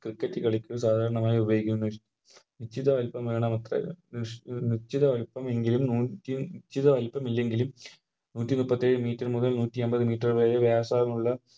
Cricket കളിക്ക് സാധാരണമായി ഉപയോഗിക്കുന്നു നിശ്ചിത വലുപ്പം കാണാം നിശ്ചിത എങ്കിലും നൂറ്റി നിശ്ചിത വലുപ്പം ഇല്ലെങ്കിലും നൂറ്റിമുപ്പത്തിയേഴ് Meter മുതൽ നൂത്തിയമ്പത് Meter വരെ വ്യാസമുള്ള